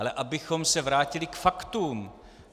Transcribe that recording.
Ale abychom se vrátili k faktům.